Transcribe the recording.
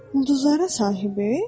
Ulduzlara sahibi?